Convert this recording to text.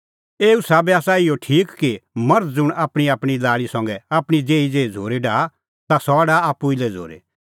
एऊ साबै आसा इहअ ठीक कि मर्ध ज़ुंण आपणींआपणीं लाल़ी संघै आपणीं देही ज़ेही झ़ूरी डाहा ता सह डाहा आप्पू ई लै झ़ूरी